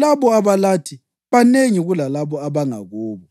Labo abalathi banengi kulalabo abangakubo.”